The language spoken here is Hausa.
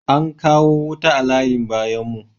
Ankawo wuta a layin bayan mu